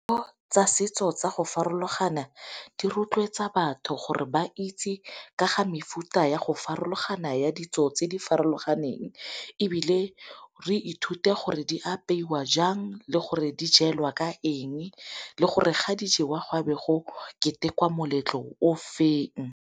Tsa setso tsa go farologana di rotloetsa batho gore ba itse ka ga mefuta ya go farologana ya ditso tse di farologaneng, ebile re ithute gore di apeiwa jang le gore di jelwa ka eng le gore ga dijewa go tlabe go ketekwa moletlo o feng.